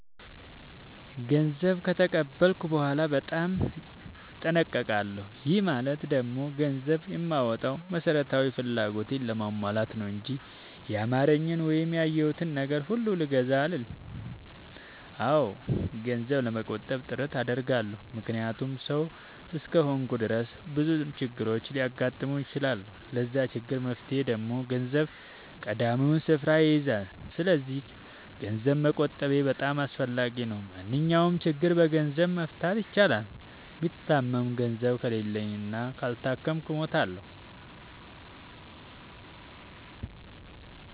ገንዘብ ከተቀበልኩ በኋላ በጣም እጠነቀቃለሁ። ይህ ማለት ደግሞ ገንዘብ የማወጣው መሠረታዊ ፍላጎቴን ለማሟላት ነው እንጂ ያማረኝን ወይም ያየሁትን ነገር ሁሉ ልግዛ አልልም። አዎ ገንዘብ ለመቆጠብ ጥረት አደርጋለሁ። ምክንያቱም ሠው እስከሆንኩኝ ድረስ ብዙ ችግሮች ሊያጋጥሙኝ ይችላሉ። ለዛ ችግር መፍትሄ ደግሞ ገንዘብ ቀዳሚውን ስፍራ ይይዛል። ሰስለዚክ ገንዘብ መቆጠቤ በጣም አስፈላጊ ነው። ማንኛውንም ችግር በገንዘብ መፍታት ይቻላል። ብታመም ገንዘብ ከሌለኝ እና ካልታከምኩ እሞታሁ።